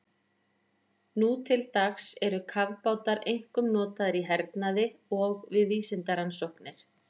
Nú til dags eru kafbátar einkum notaðir í hernaði og við vísindarannsóknir.